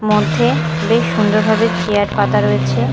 মধ্যে বেশ সুন্দরভাবে চেয়ার পাতা রয়েছে।